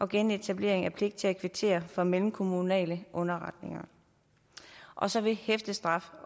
genetablering af pligt til at kvittere for mellemkommunale underretninger og så vil hæftestraf